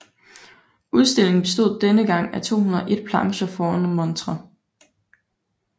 Udstillingen bestod denne gang af 201 plancher foruden montrer